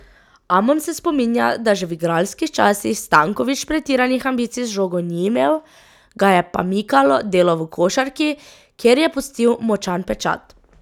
Amon se spominja, da že v igralskih časih Stanković pretiranih ambicij z žogo ni imel, ga je pa mikalo delo v košarki, kjer je pustil močan pečat.